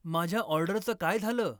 माझ्या ऑर्डरचं काय झालं ?